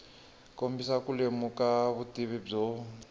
kombisa ku lemuka vutivi byo